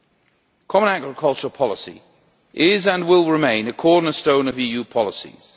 The common agricultural policy is, and will remain, a cornerstone of EU policies.